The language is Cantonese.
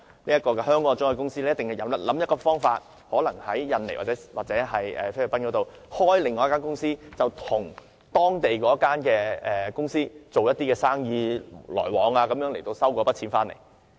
香港的中介公司必定會想方法，可能在印尼或菲律賓開設另一間公司，透過與該公司的生意往來收回那筆錢。